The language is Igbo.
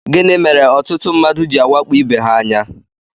Gịnị mere ọtụtụ mmadụ jị awakpo ibe ha anya?